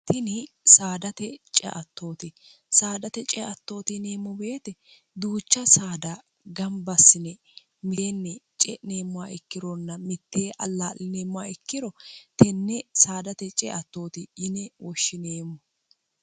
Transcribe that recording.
ini saadate ceattoote saadate ceattooti yineemmo beete duucha saada gambassine milienni ce'neemmoa ikkironna mittee allaa'lineemmoa ikkiro tenne saadate ceattooti yine woshshineemmo